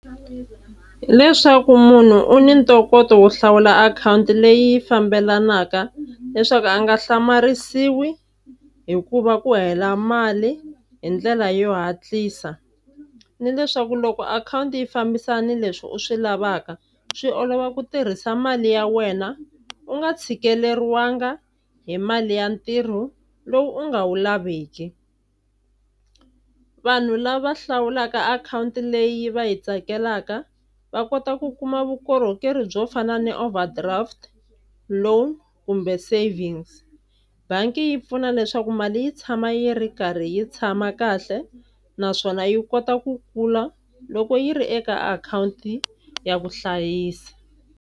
Leswaku munhu u ni ntokoto wo hlawula akhawunti leyi fambelanaka leswaku a nga hlamarisiwi hi ku va ku hela mali hi ndlela yo hatlisa, ni leswaku loko akhawunti yi fambisana na leswi u swi lavaka swi olova ku tirhisa mali ya wena u nga tshikeleriwanga hi mali ya ntirho lowu u nga wu laveki. Vanhu lava hlawulaka akhawunti leyi va yi tsakelaka va kota ku kuma vukorhokeri byo fana ni overdraft loan kumbe savings. Bangi yi pfuna leswaku mali yi tshama yi ri karhi yi tshama kahle naswona yi kota ku kula loko yi ri eka akhawunti ya vuhlayisi.